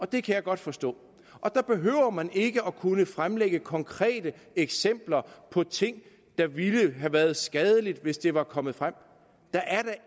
det kan jeg godt forstå der behøver man ikke kunne fremlægge konkrete eksempler på ting der ville have været skadelige hvis de var kommet frem der er da